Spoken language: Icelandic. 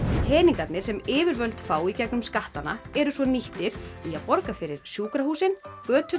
peningarnir sem yfirvöld fá í gegnum skattana eru svo nýttir í að borga fyrir sjúkrahúsin göturnar